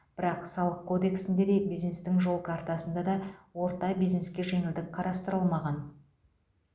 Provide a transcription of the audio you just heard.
бірақ салық кодексінде де бизнестің жол картасында да орта бизнеске жеңілдік қарастырылмаған